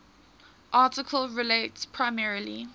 article relates primarily